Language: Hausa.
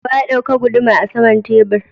Wa ya dauka guduma are saman tebur?